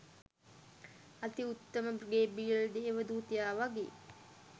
අති උත්තම ගේබ්‍රියෙල් දේව දූතයා වගේ